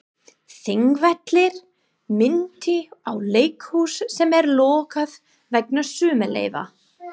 Þingvellir minntu á leikhús sem er lokað vegna sumarleyfa.